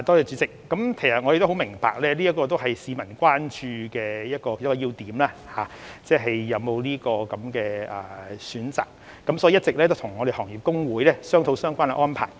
主席，我們十分明白市民關注是否有權選擇個人信貸資料服務機構，所以我們一直與行業公會商討相關安排。